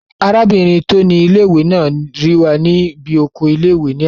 Arábìnrin tó ni ilé-ìwé náà rí wa ní bí oko ilé-ìwé náà ní àná